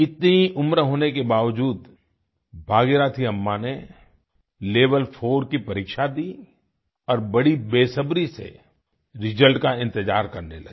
इतनी उम्र होने के बावजूद भागीरथी अम्मा ने level4 की परीक्षा दी और बड़ी बेसब्री से रिजल्ट का इंतजार करने लगी